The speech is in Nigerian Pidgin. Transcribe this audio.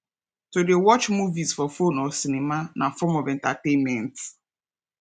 to de watch movies for phone or cinema na form of entertainment